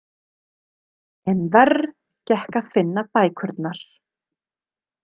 En verr gekk að finna bækurnar.